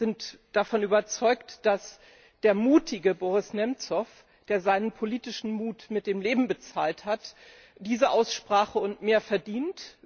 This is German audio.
Wir sind davon überzeugt, dass der mutige Boris Nemzow, der seinen politischen Mut mit dem Leben bezahlt hat, diese Aussprache und mehr verdient.